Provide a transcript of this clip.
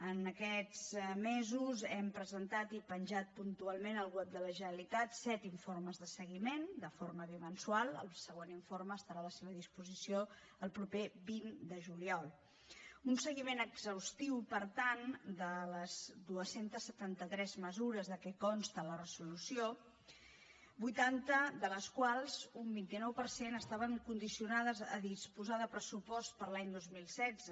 en aquests mesos hem presentat i penjat puntualment al web de la generalitat set informes de seguiment de forma bimensual el següent informe estarà a la seva disposició el proper vint de juliol un seguiment exhaustiu per tant de les dos cents i setanta tres mesures de què consta la resolució vuitanta de les quals un vint nou per cent estaven condicionades a disposar de pressupost per a l’any dos mil setze